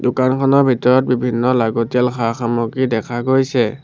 দোকানখনৰ ভিতৰত বিভিন্ন লাগতিয়াল সা-সামগ্ৰী দেখা গৈছে।